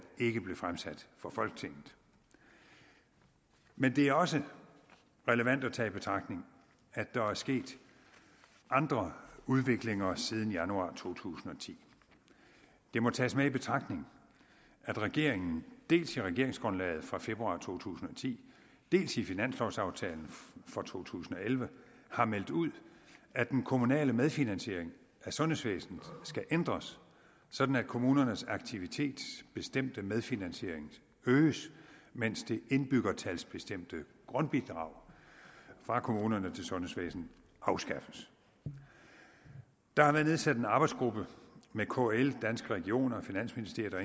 ikke blev fremsat for folketinget men det er også relevant at tage i betragtning at der er sket andre udviklinger siden januar to tusind og ti det må tages med i betragtning at regeringen dels i regeringsgrundlaget fra februar to tusind og ti dels i finanslovaftalen for to tusind og elleve har meldt ud at den kommunale medfinansiering af sundhedsvæsenet skal ændres sådan at kommunernes aktivitetsbestemte medfinansiering øges mens det indbyggertalsbestemte grundbidrag fra kommunerne til sundhedsvæsenet afskaffes der har været nedsat en arbejdsgruppe med kl danske regioner finansministeriet og